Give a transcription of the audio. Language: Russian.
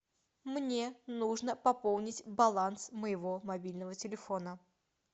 мне нужно пополнить баланс моего мобильного телефона